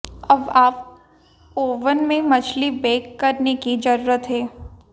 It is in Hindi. अब आप ओवन में मछली बेक करने की जरूरत है